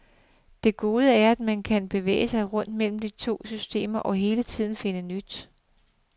Det gode er, at man kan bevæge sig rundt mellem de to systemer og hele tiden finde nyt.